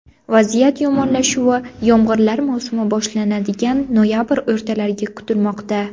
Vaziyat yomonlashuvi yomg‘irlar mavsumi boshlanadigan noyabr o‘rtalariga kutilmoqda.